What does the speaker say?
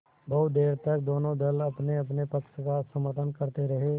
बहुत देर तक दोनों दल अपनेअपने पक्ष का समर्थन करते रहे